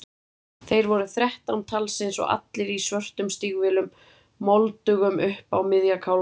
Þeir voru þrettán talsins og allir í svörtum stígvélum, moldugum upp á miðja kálfa.